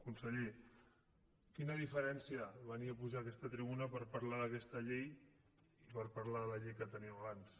conseller quina diferència venir a pujar a aquesta tribuna per parlar d’aquesta llei i per parlar de la llei que teníem abans